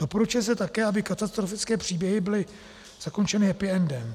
Doporučuje se také, aby katastrofické příběhy byly zakončeny happy endem.